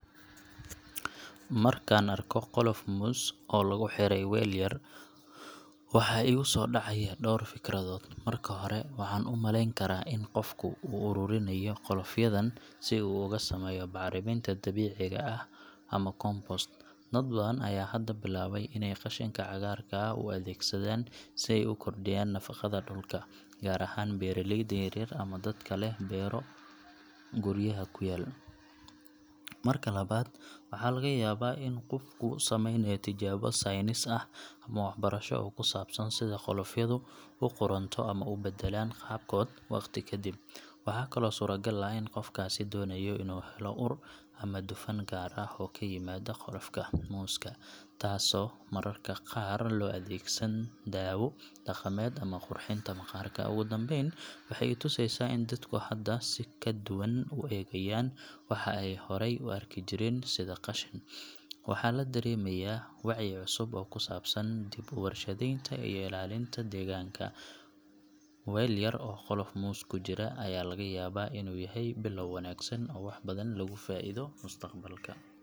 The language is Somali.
Markaan arko qolof muus oo lagu xiray weel yar, waxa iiga soo dhacaya dhowr fikradood. Marka hore, waxaan u malayn karaa in qofku u ururinayo qolofyadan si uu uga sameeyo bacriminta dabiiciga ah ama compost. Dad badan ayaa hadda bilaabay inay qashinka cagaarka ah u adeegsadaan si ay u kordhiyaan nafaqada dhulka, gaar ahaan beeraleyda yaryar ama dadka leh beero guryaha ku yaal. Marka labaad, waxaa laga yaabaa in qofku sameynayo tijaabo saynis ah ama waxbarasho oo ku saabsan sida qolofyadu u qudhunto ama u beddelaan qaabkooda waqti ka dib. Waxaa kaloo suuragal ah in qofkaasi doonayo inuu helo ur ama dufan gaar ah oo ka yimaada qolofka muuska, taas oo mararka qaar loo adeegsado daawo dhaqameed ama qurxinta maqaarka. Ugu dambayn, waxay i tusaysaa in dadku hadda si ka duwan u eegayaan waxa ay horay u arki jireen sida qashin. Waxa la dareemayaa wacyi cusub oo ku saabsan dib-u-warshadaynta iyo ilaalinta deegaanka. Weel yar oo qolof muus ku jira ayaa laga yaabaa inuu yahay bilow wanaagsan oo wax badan laga faa’iido mustaqbalka.